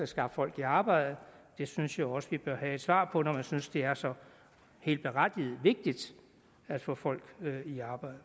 skaffe folk i arbejde det synes jeg også vi bør have et svar på når man synes det er så helt berettiget og vigtigt at få folk i arbejde